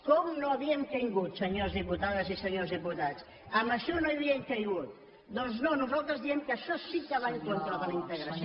com no hi havíem caigut senyores diputades i senyors diputats en això no hi havíem caigut doncs no nosaltres diem que això sí que va en contra de la integració